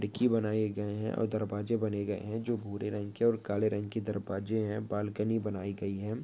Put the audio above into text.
खिड़की बनये गए है और दरवाजे बने गए है जो भूरे रंग के और काले रंग के दरवाजे है बालकनी बनाई गयीं है।